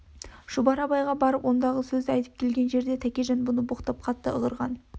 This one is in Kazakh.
шұбар абайға барып ондағы сөзді айтып келген жерде тәкежан бұны боқтап қатты ығырған